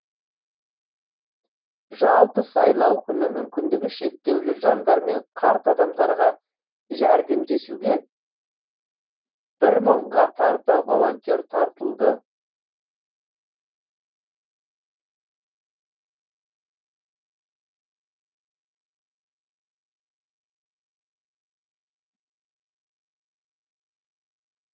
жалпы сайлау күні мүмкіндігі шектеулі жандар мен қарт адамдарға жәрдемдесуге бір мыңға тарта волонтер тартылды